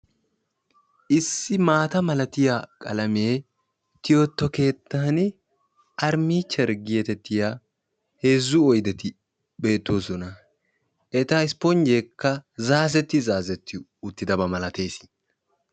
Issi maata malatiyaa qalamee tiyetto keettani perinicheri getettiyaa heezzu oydeti beettoosona. eta isponjjeekka zaazetti zaazetti uttidaba malatees.